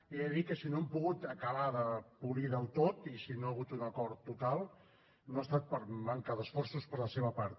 i he de dir que si no l’hem pogut acabar de polir del tot i si no hi ha hagut un acord total no ha estat per manca d’esforços per la seva part